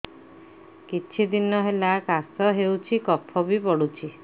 କିଛି ଦିନହେଲା କାଶ ହେଉଛି କଫ ବି ପଡୁଛି